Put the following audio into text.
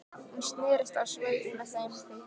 Hún snerist á sveif með þeim